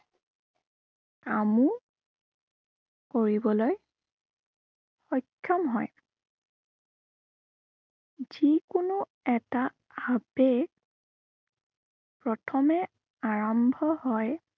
কামো কৰিবলৈ সক্ষম হয়। যি কোনো এটা আবেগ প্ৰথমে আৰম্ভ হয়